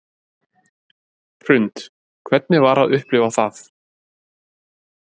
Hrund: Hvernig var að upplifa það?